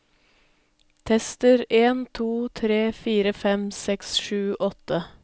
Tester en to tre fire fem seks sju åtte